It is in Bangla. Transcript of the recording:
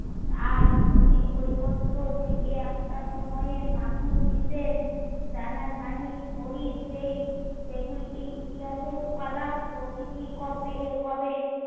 আর ছবি বই পত্র থেকে একটা সময়ে মানুষ বিশেষ জানা জানি করি সেই সে গুলি কে ইতিহাসের উপাদান প্রকিতির কবে কবে